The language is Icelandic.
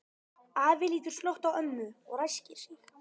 Afi lítur snöggt á ömmu og ræskir sig.